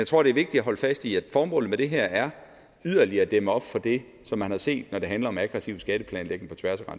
tror det er vigtigt at holde fast i at formålet med det her er yderligere at dæmme op for det som man har set når det handler om aggressiv skatteplanlægning på tværs af